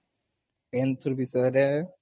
କେନ ବିଷୟରେ?